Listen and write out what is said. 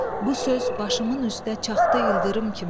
Bu söz başımın üstə çaxdı ildırım kimi.